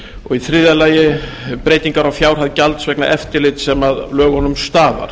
og í þriðja lagi breytingar á fjárhæð gjalds vegna eftirlits sem af lögunum stafar